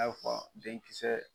Na bɛ f'a ma denkisɛsɛ.